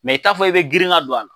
i t'a fɔ i be girin ka don a la.